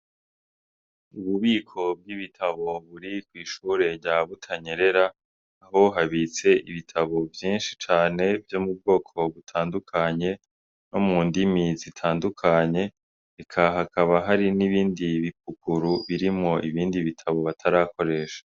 Ububiko bw'ibitabo buri kw'ishure rya Butanyerera, niho habitse ibitabo vyinshi cane vyo mu bwoko butandukanye, no mu ndimi zitandukanye hakaba hari n'ibindi haruguru, burimwo ibindi bitabo batarakoresha.